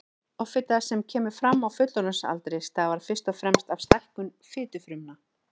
Offita sem kemur fram á fullorðinsaldri stafar fyrst og fremst af stækkun fitufrumna.